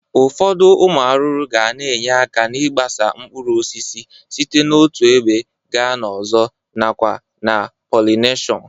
Ụfọdụ ụmụ arụrụ ga na-enye aka n'ịgbasa mkpuruosisi site n'otu ebe ga n'ọzọ nakwa na polineshọn